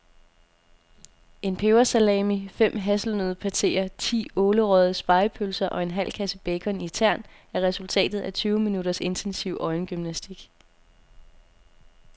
En pebersalami, fem hasselnøddepateer, ti ålerøgede spegepølser og en halv kasse bacon i tern er resultatet af tyve minutters intensiv øjengymnastik.